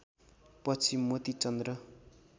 पछि मोती चन्द्र